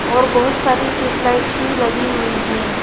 और बहुत सारी ट्यूबलाइट्स भी लगी हुई हैं।